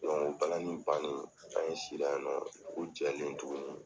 balani bannen, an si la ye nɔ, dugu jɛlen tuguni